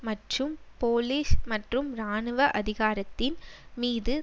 மற்றும் போலீஸ் மற்றும் இராணுவ அதிகாரத்தின் மீது